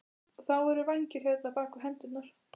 Og þá voru vængir hérna, bak við hendurnar.